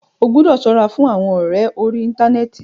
Ó gbọ́dọ̀ ṣọ́ra fún àwọn ọ̀rẹ orí íntanẹ́ẹ̀ti.